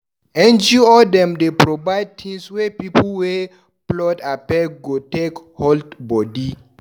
NGO dem dey provide tins wey pipu wey flood affect go take hold bodi.